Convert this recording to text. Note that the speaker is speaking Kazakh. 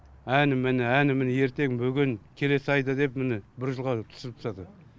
әне міне әне міне ертең бүгін келесі айда деп міне бір жылға түсіріп тастады